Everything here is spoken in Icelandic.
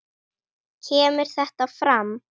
kemur þetta fram